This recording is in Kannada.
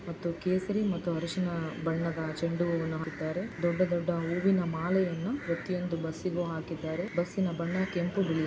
ಮತ್ತು ಕೇಸರಿ ಮತ್ತು ಹರ್ಷಿನ ಬಣ್ಣದ ಚೆಂಡು ಹೂವನ್ನು ಹಾಕಿದ್ದಾರೆ ದೊಡ್ಡ ದೊಡ್ಡ ಹೂವಿನ ಮಾಲೆಯನ್ನು ಪ್ರತಿಯೊಂದು ಬಸ್ಸಿಗೂ ಹಾಕಿದ್ದಾರೆ ಬಸ್ಸಿನ ಬಣ್ಣ ಕೆಂಪು ಬಿಳಿ--